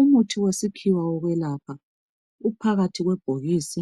Umuthi wesiphiwo wokwelapha uphakathi kwebhokisi